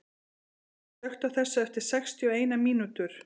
Þurý, slökktu á þessu eftir sextíu og eina mínútur.